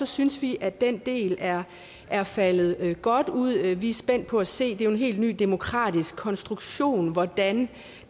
synes vi at den del er er faldet godt ud vi er spændt på at se det er jo en helt ny demokratisk konstruktion hvordan